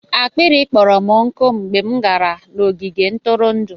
akpịrị kpọrọ m nkụ mgbe m gara n'ogige ntụrụndụ.